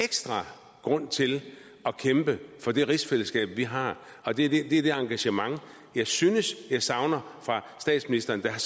ekstra grund til at kæmpe for det rigsfællesskab vi har og det er det engagement jeg synes jeg savner fra statsministeren der har